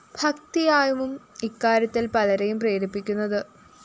ഭക്തിയാവും ഇക്കാര്യത്തില്‍ പലരേയും പ്രേരിപ്പിക്കുന്നത്